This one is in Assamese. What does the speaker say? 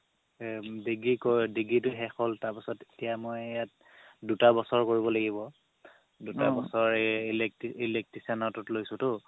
এৰ degree degree টো শেষ হ'ল তাৰপাছত এতিয়া মই ইয়াত দুটা বছৰ কৰিব লাগিব দুটা বছৰ এই electrician ৰটোত লৈছোতো